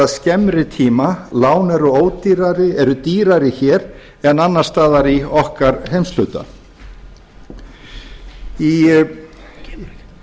skemmri tíma lán eru dýrari hér en annars staðar í okkar heimshluta í